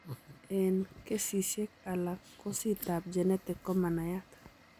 Eng' kesisiek alak kosit ab genetic komanaiyat